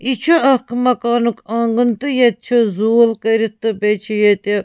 .یہِ چُھ اکھ مکانُک آنٛگُن تہٕ ییٚتہِ چُھ ییٚتہِ چُھ زوٗل کٔرِتھ تہٕ بیٚیہِ چھ ییٚتہِ